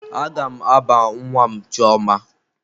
Aga m aba nwa m chioma.